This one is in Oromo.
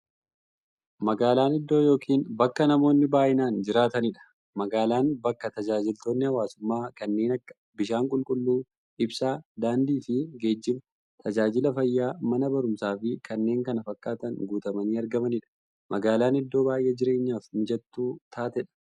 Magaalan iddoo yookiin bakka namoonni baay'inaan jiraataniidha. Magaalan bakka taajajilootni hawwaasummaa kanneen akka; bishaan qulqulluu, ibsaa, daandiifi geejjiba, taajajila fayyaa, Mana baruumsaafi kanneen kana fakkatan guutamanii argamaniidha. Magaalan iddoo baay'ee jireenyaf mijattuu taateedha.